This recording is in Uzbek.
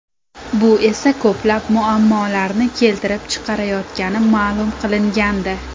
Bu esa ko‘plab muammolarni keltirib chiqaryotgani ma’lum qilingandi .